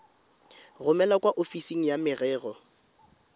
romele kwa ofising ya merero